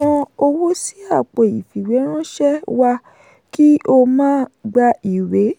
san owó sí àpò ìfìwéránṣẹ́ wa kí o máa gba ìwé.